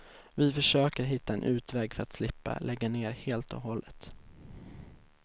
Vi försäker hitta en utväg för att slippa lägga ned helt och hållet.